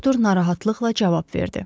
Doktor narahatlıqla cavab verdi.